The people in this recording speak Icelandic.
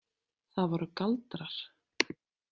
Það voru galdrar.